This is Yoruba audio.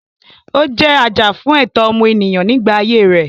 Ó jẹ́ ajàfún ẹ̀tọ́ ọmọnìyàn nígbà ayé rẹ̀.